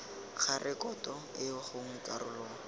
ga rekoto eo gongwe karolo